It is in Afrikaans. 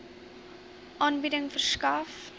aanbieding verskaf